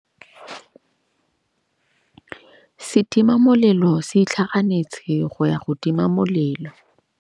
Setima molelô se itlhaganêtse go ya go tima molelô.